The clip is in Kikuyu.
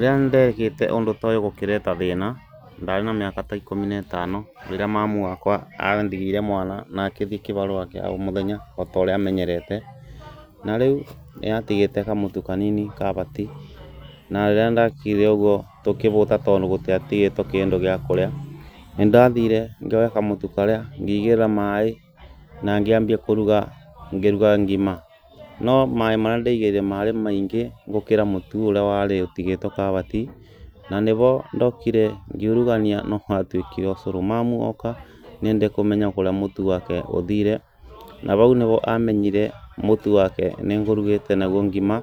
Rĩrĩa ndekĩte ũndũ toyũ gũkĩreta thĩĩna ndarĩ na mĩaka ta ĩkũmi ne tano, rĩrĩa mamu wakwa andigĩire mwana na akĩthi kivarũa kĩa o mũthenya otorĩa amenyerete, na rĩu nĩatigĩte kamũtu kanini kavati, na rĩria ndakire ũguo tũkĩvũta, tondũ gũtiatigĩto kĩndũ gĩa kũrĩa, nĩndathiire ngĩoya kamũtu karĩa ngĩigĩrĩra maĩ na ngĩambia kũruga, ngiruga ngima, no maĩ marĩa ndeigĩrĩire marĩ maingĩ gũkĩra mũtu ũrĩa warĩ ũtigĩtwo kavati ,na nĩhondokire ngĩurugania no watuĩkire ũcũrũ, mamu oka nĩendire kũmenya kũrĩa mũtu wake ũthiire na vau nĩvo amenyire mũtu wake nĩngũrugĩte naguo ngima